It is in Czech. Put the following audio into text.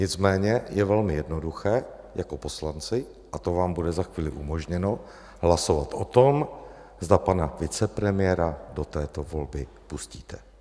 Nicméně je velmi jednoduché jako poslanci - a to vám bude za chvíli umožněno - hlasovat o tom, zda pana vicepremiéra do této volby pustíte.